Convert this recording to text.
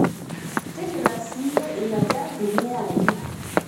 tigila ssiyie ina jamvi niya aaji